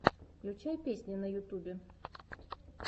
включай песни в ютубе